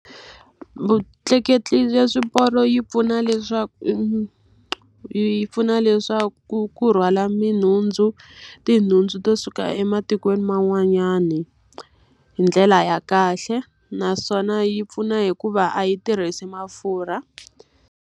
Vutleketli bya swiporo yi pfuna leswaku yi yi pfuna le swa ku ku rhwala tinhundzu to suka ematikweni man'wanyana hi ndlela ya kahle. Naswona yi pfuna hikuva a yi tirhisi mafurha.